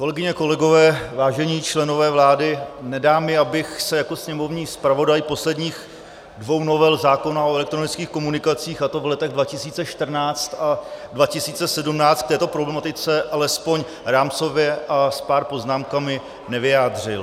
Kolegyně, kolegové, vážení členové vlády, nedá mi, abych se jako sněmovní zpravodaj posledních dvou novel zákona o elektronických komunikacích, a to v letech 2014 a 2017, k této problematice alespoň rámcově s pár poznámkami nevyjádřil.